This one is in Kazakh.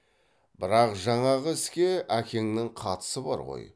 бірақ жаңағы іске әкеңнің қатысы бар ғой